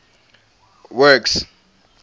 works